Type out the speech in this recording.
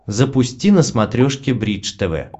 запусти на смотрешке бридж тв